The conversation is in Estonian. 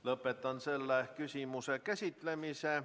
Lõpetan selle küsimuse käsitlemise.